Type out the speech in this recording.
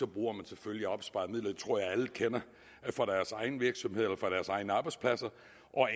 bruger man selvfølgelig opsparede midler det tror jeg alle kender fra deres egen virksomhed eller fra deres egen arbejdsplads